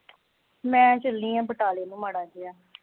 ਮੈਂ ਚੱਲੀ ਆ ਬਟਾਲੇ ਨੂੰ ਮਾੜਾ ਜਾ